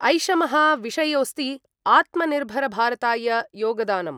ऐषमः विषयोस्ति आत्मनिर्भरभारताय योगदानम्।